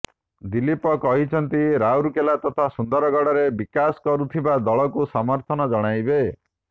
ଦିଲ୍ଲୀପ କହିଛନ୍ତି ରାଉରକେଲା ତଥା ସୁନ୍ଦରଗଡ଼ରେ ବିକାଶ କରୁଥିବା ଦଳକୁ ସମର୍ଥନ ଜଣାଇବେ